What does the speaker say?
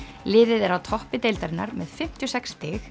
liðið er á toppi deildarinnar með fimmtíu og sex stig